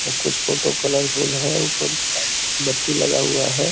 कुछ photo colourful है ऊपर बत्ती लगा हुआ है।